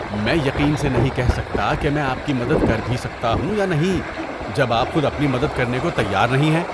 میں یقین سے نہیں کہہ سکتا کہ میں آپ کی مدد کر بھی سکتا ہوں یا نہیں جب آپ خود اپنی مدد کرنے کو تیار نہیں ہیں۔